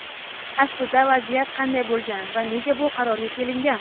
Aslida vaziyat qanday bo‘lgan va nega bu qarorga kelingan?.